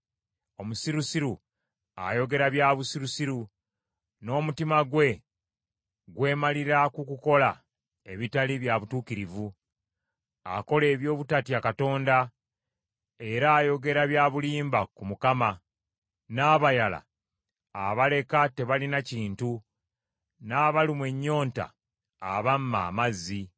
Omusirusiru ayogera bya busirusiru, n’omutima gwe gwemalira ku kukola ebitali bya butuukirivu. Akola eby’obutatya Katonda, era ayogera bya bulimba ku Mukama , n’abayala abaleka tebalina kintu, n’abalumwa ennyonta abamma amazzi.